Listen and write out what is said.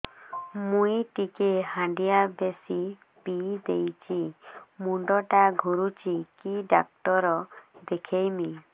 ମୁଇ ଟିକେ ହାଣ୍ଡିଆ ବେଶି ପିଇ ଦେଇଛି ମୁଣ୍ଡ ଟା ଘୁରୁଚି କି ଡାକ୍ତର ଦେଖେଇମି